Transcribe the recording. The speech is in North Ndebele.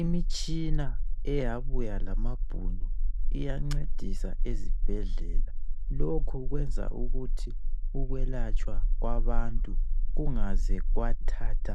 imitshina eyabuya lamabhunu iyancedisa ezibhedlela lokho kuyenza ukuthi ukwelatshwa kwabantu kungaze kwathatha